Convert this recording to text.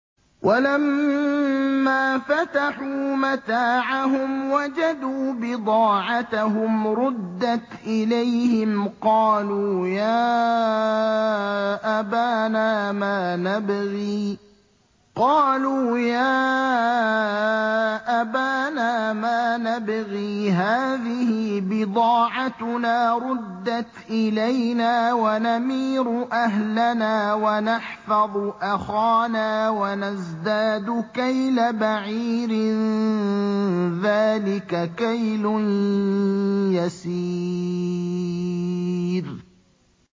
وَلَمَّا فَتَحُوا مَتَاعَهُمْ وَجَدُوا بِضَاعَتَهُمْ رُدَّتْ إِلَيْهِمْ ۖ قَالُوا يَا أَبَانَا مَا نَبْغِي ۖ هَٰذِهِ بِضَاعَتُنَا رُدَّتْ إِلَيْنَا ۖ وَنَمِيرُ أَهْلَنَا وَنَحْفَظُ أَخَانَا وَنَزْدَادُ كَيْلَ بَعِيرٍ ۖ ذَٰلِكَ كَيْلٌ يَسِيرٌ